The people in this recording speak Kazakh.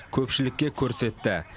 көпшілікке көрсетті